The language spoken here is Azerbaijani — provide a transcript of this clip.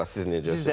Əla, siz necəsiz?